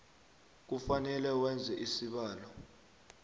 kufanele wenze isibawo